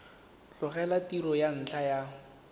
tlogela tiro ka ntlha ya